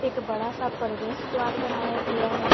एक बड़ा सा प्रवेश द्वार बनाया गया है।